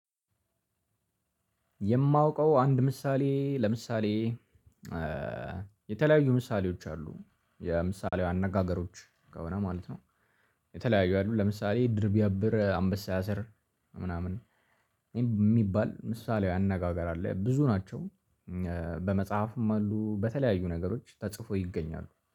የማውቀው አንድ ምሳሌ ለምሳሌ የተለያዩ ምሳሌዎች አሉ የምሳሌያዊ አነጋገሮች ከሆነ ማለት ነው። የተለያዩ አሉ ለምሳሌ ድር ቢያብር አንበሳ ያሰር ምናምን የሚባል ምሳሌያዊ አነጋገር አለ ብዙ ናቸው በመጽሐፍም አሉ በተለያዩ ነገሮች ተጽፈው ይገኛሉ